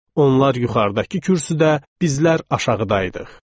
Onlar yuxarıdakı kürsüdə, bizlər aşağıdaydıq.